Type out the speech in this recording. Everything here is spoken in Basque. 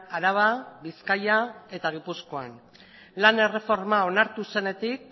araba bizkaia eta gipuzkoan lan erreforma onartu zenetik